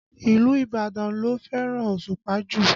Ìlú Ibadan ló fẹ́ràn Òṣùpá jù